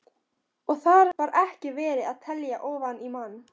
Og þar var ekki verið að telja ofan í mann.